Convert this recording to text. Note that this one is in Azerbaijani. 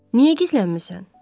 Niyə gizlənmisən?